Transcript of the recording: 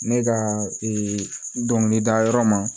Ne ka dɔnkili da yɔrɔ ma